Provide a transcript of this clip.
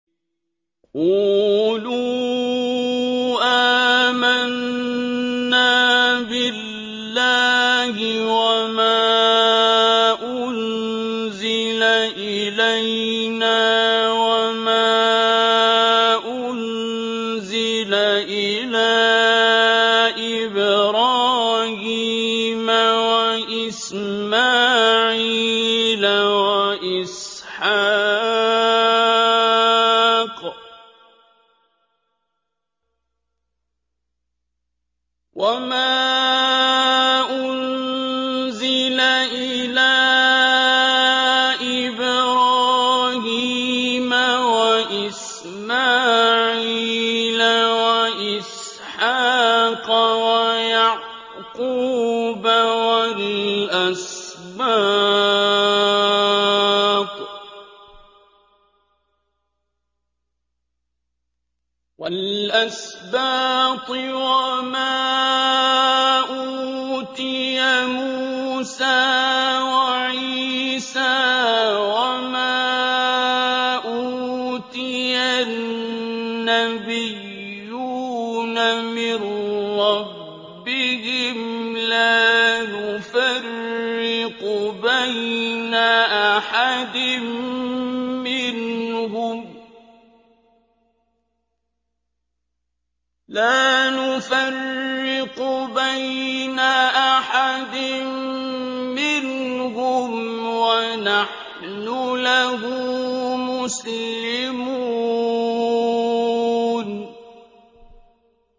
قُولُوا آمَنَّا بِاللَّهِ وَمَا أُنزِلَ إِلَيْنَا وَمَا أُنزِلَ إِلَىٰ إِبْرَاهِيمَ وَإِسْمَاعِيلَ وَإِسْحَاقَ وَيَعْقُوبَ وَالْأَسْبَاطِ وَمَا أُوتِيَ مُوسَىٰ وَعِيسَىٰ وَمَا أُوتِيَ النَّبِيُّونَ مِن رَّبِّهِمْ لَا نُفَرِّقُ بَيْنَ أَحَدٍ مِّنْهُمْ وَنَحْنُ لَهُ مُسْلِمُونَ